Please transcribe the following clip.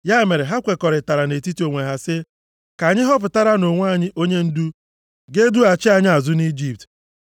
Ya mere ha kwekọrịtara nʼetiti onwe ha sị, “Ka anyị họpụtaranụ onwe anyị onyendu ga-edughachi anyị azụ nʼIjipt.”